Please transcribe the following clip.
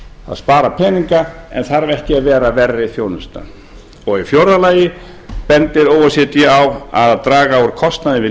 að spara peninga en þarf ekki að vera verri þjónusta fjórða o e c d bendir á að draga úr kostnaði við